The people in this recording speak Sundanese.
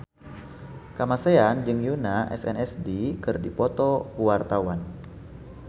Kamasean jeung Yoona SNSD keur dipoto ku wartawan